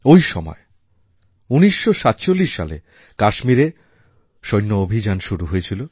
ঐ সময় ১৯৪৭ সালে কাশ্মীরে সৈন্য অভিযান শুরু হয়েছিল